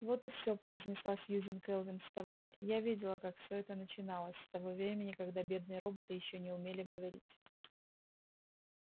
вот и все произнесла сьюзен кэлвин вставая я видела как всё это начиналось с того времени когда бедные роботы ещё не умели говорить